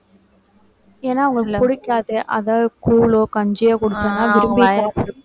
ஏன்னா அவுங்களுக்கு பிடிக்காது அதா~ கூழோ கஞ்சியோ